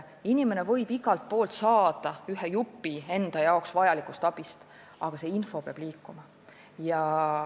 Inimene võib igalt poolt saada ühe jupi vajalikust abist, aga see info peab liikuma.